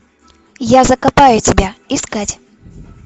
я закопаю тебя искать